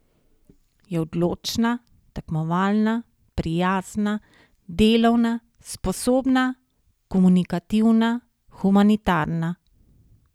Je odločna, tekmovalna, prijazna, delovna, sposobna, komunikativna, humanitarna.